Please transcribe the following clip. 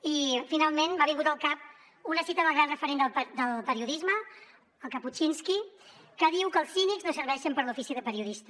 i finalment m’ha vingut al cap una cita del gran referent del periodisme el kapuscinski que diu que els cínics no serveixen per a l’ofici de periodista